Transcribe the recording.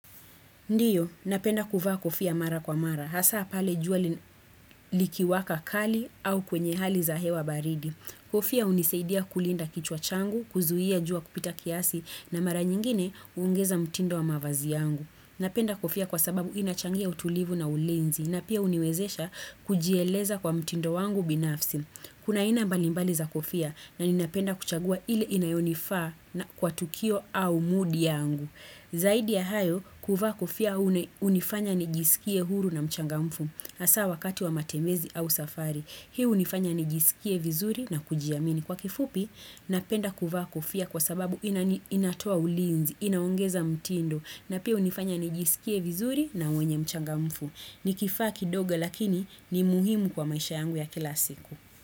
Ndio, napenda kuvaa kofia mara kwa mara, hasaa pale jua li likiwaka kali au kwenye hali za hewa baridi. Kofia hunisaidia kulinda kichwa changu, kuzuia jua kupita kiasi na mara nyingine huongeza mtindo wa mavazi yangu. Napenda kofia kwa sababu inachangia utulivu na ulinzi na pia huniwezesha kujieleza kwa mtindo wangu binafsi. Kuna aina mbalimbali za kofia na ninapenda kuchagua ile inayonifaa kwa tukio au mood yangu. Zaidi ya hayo, kuvaa kofia hunifanya nijisikie huru na mchangamfu hasaa wakati wa matembezi au safari Hii hunifanya nijisikie vizuri na kujiamini Kwa kifupi, napenda kuvaa kofia kwa sababu inatoa ulinzi, inaongeza mtindo na pia hunifanya nijisikie vizuri na mwenye mchangamfu Nikifaa kidogo lakini ni muhimu kwa maisha yangu ya kila siku.